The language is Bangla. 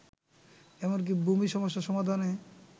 এমনকি ভূমি সমস্যা সমাধানে